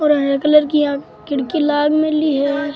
और हरा कलर की इया खिड़की लाग मेंली है।